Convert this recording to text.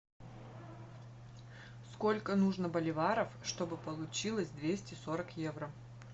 сколько нужно боливаров чтобы получилось двести сорок евро